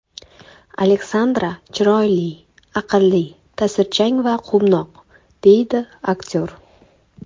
Alexandra chiroyli, aqlli, ta’sirchan va quvnoq”, deydi aktyor.